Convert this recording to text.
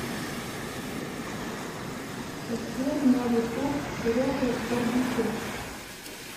сбер на ютуб серега барбекю